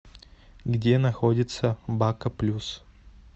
где находится бако плюс